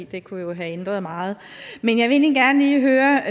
det kunne jo have ændret meget men jeg vil egentlig gerne lige høre